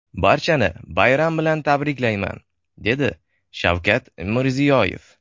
Barchani bayram bilan tabriklayman”, dedi Shavkat Mirziyoyev.